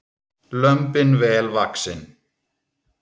Lömbin vel vaxin